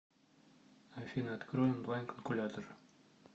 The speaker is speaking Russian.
афина открой онлайн калькулятор